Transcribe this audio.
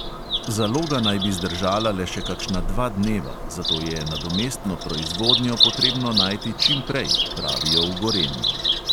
Zaloga naj bi zdržala le še kakšna dva dneva, zato je nadomestno proizvodnjo potrebno najti čim prej, pravijo v gorenju.